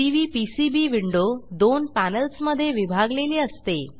CVPCB window दोन पॅनेल्समधे विभागलेली असते